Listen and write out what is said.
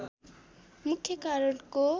मुख्य कारणको